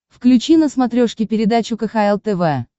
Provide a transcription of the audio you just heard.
включи на смотрешке передачу кхл тв